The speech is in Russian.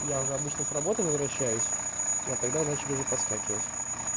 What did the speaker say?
я уже обычно с работы возвращаюсь но тогда начали уже подскакивать